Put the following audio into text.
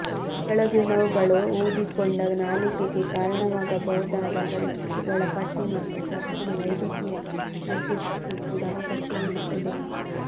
ಕೆಳಗಿನವುಗಳು ಊದಿಕೊಂಡ ನಾಲಿಗೆಗೆ ಕಾರಣವಾಗಬಹುದಾದ ಪರಿಸ್ಥಿತಿಗಳ ಪಟ್ಟಿ ಮತ್ತು ತಕ್ಷಣ ವೈದ್ಯಕೀಯ ಮಧ್ಯಸ್ಥಿಕೆ ಕೂಡಾ ಅಗತ್ಯವಿರುತ್ತದೆ